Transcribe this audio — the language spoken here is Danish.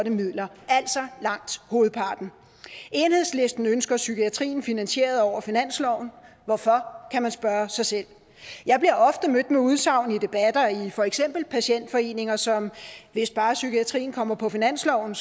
midler altså langt hovedparten enhedslisten ønsker psykiatrien finansieret over finansloven hvorfor kan man spørge sig selv jeg bliver ofte mødt med udsagn i debatter i for eksempel patientforeninger som hvis bare psykiatrien kommer på finansloven